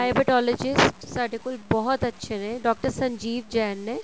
dialectologist ਸਾਡੇ ਕੋਲ ਬਹੁਤ ਅੱਛੇ ਨੇ ਡਾਕਟਰ ਸੰਜੀਵ ਜੈਨ ਨੇ